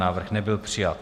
Návrh nebyl přijat.